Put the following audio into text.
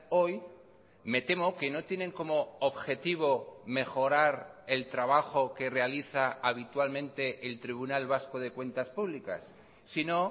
hoy me temo que no tienen como objetivo mejorar el trabajo que realiza habitualmente el tribunal vasco de cuentas públicas sino